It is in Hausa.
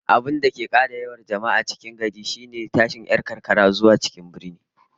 Abinda ke kara yawan jama'ar manyan garuruwa, har da tashin mutane daga karkara zuwa birane